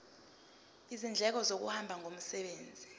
izindleko zokuhamba ngomsebenzi